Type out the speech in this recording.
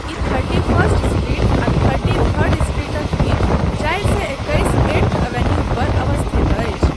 ई thirty first street आ thirty third स्ट्रीटक बीच चारि सए एकैस ऐट्थ एवेन्यू पर अवस्थित अछि।